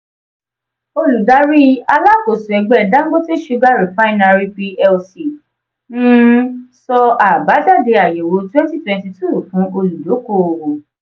oludari alakoso ẹgbẹ dangote sugar refinery plc um sọ abajade ayẹwo 2022 fun oludokoowo.